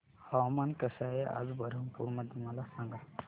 हवामान कसे आहे आज बरहमपुर मध्ये मला सांगा